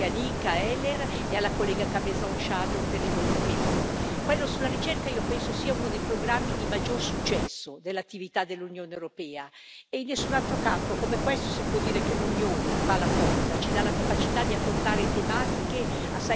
Quello sulla ricerca io penso sia uno dei programmi di maggior successo dell'attività dell'Unione europea e in nessun altro campo come questo si può dire che l'unione fa la forza, ci dà la capacità di affrontare tematiche assai complesse che ogni singolo paese non potrebbe nemmeno affrontare.